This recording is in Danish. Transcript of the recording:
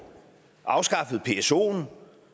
afskaffet psoen